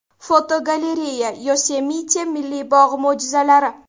Fotogalereya: Yosemite Milliy bog‘i mo‘jizalari.